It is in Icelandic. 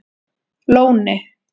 Lóni